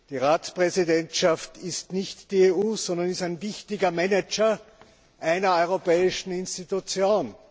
Die Ratspräsidentschaft ist nicht die EU, sondern sie ist ein wichtiger Manager einer europäischen Institution.